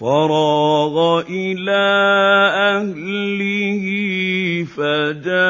فَرَاغَ إِلَىٰ أَهْلِهِ فَجَاءَ